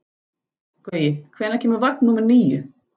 Gaui, hvenær kemur vagn númer níu?